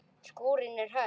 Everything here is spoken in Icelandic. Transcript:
Skúrinn er höll.